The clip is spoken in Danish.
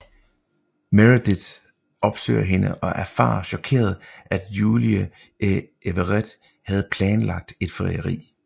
Meredith opsøger hende og erfarer chokeret fra Julie at Everett havde planlagt et frieri